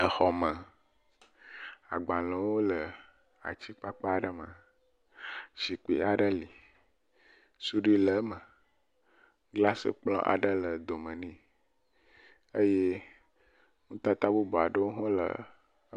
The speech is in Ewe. Xɔme, agbalẽwo le atsi kpakpa aɖe me. Zikpui aɖe li, suɖui le eme. Glasi kplɔ̃ aɖe le dome ne eye nutata bubu aɖewo ha …